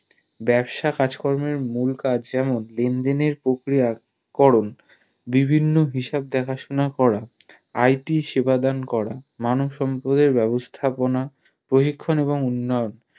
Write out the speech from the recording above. বাবসা কাজকর্মের মূল কাজ যেমন লেন দেনের প্রক্রিয়া করন বিভিন্ন হিসাব দেখাশোনা করা IT সেবা দেন করা মানব সম্পদের ব্যাবস্থাপনা প্রশিক্ষণ এবং উন্নয়ন